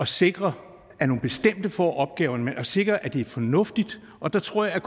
sikre at nogle bestemte får opgaverne men at sikre at det er fornuftigt og der tror jeg